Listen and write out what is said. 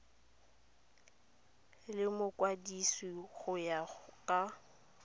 le mokwadise go ya ka